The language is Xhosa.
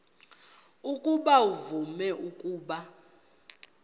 ukuba uvume ukuba